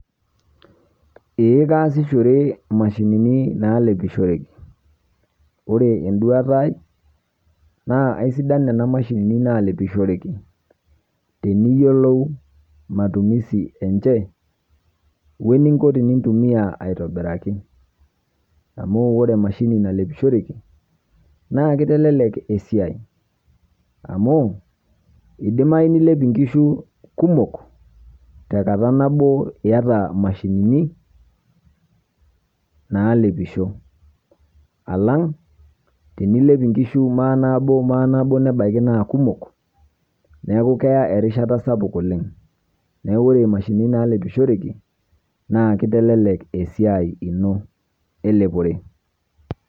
Eeh kaasishore imashinini naalepishoreki. Ore enduaatai naa aisidan nena mashinini naalepishoreki teniyolou matumisi enche oeninko tenintumia aitobiraki. Amuu ore emashini nalepishoreki naakeitelelek esiai amu eidimayu nilep inkishu kumok tenkata nabo iata mashinini naalepisho alang' tinilep inkishu maanabo maanabo nebaiki naa kumok neaku keya erishata sapuk oleng'. Neaku ore mashinini naalepishoreki naakeitelelek esiai ino elepore.